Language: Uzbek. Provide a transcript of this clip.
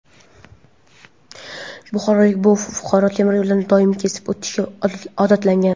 buxorolik bu fuqaro temiryo‘ldan doimiy kesib o‘tishga odatlangan.